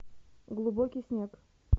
глубокий снег